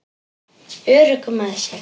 Örugg með sig.